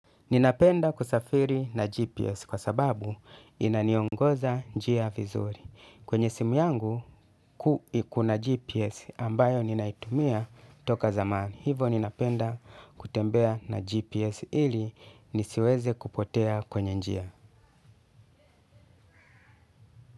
Ninapenda kusafiri na GPS kwasababu inaniongoza njia vizuri kwenye simu yangu kuu kuna GPS ambayo ninaitumia toka zamani. Hivyo ninapenda kutembea na GPS ili nisiweze kupotea kwenye njia.